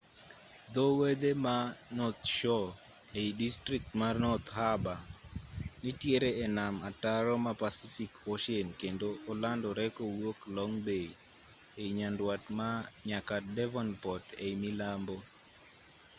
dho wedhe ma north shore ei distrikt ma north harbour nitiere e nam ataro ma pacific ocean kendo olandore kowuok long bay ei nyanduat nyaka devonport ei milambo